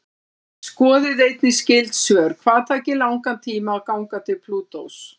Skoðið einnig skyld svör: Hvað tæki langan tíma að ganga til Plútós?